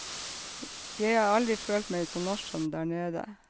Jeg har aldri følt meg så norsk som der nede.